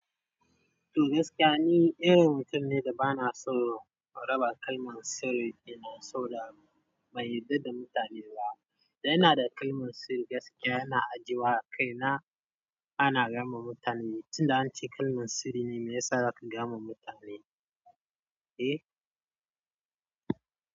To gaskiya ni irin mutum ne da ba na so raba kalmar sirri, ɗina saboda ban yadda da mutane ba. Da ina da kalmar sirri gaskiya ina ajiyewa a kaina, ana gama mutane. Tun da an ce kalmar sirri ne mai yasa zaka gaya ma mutane, eh.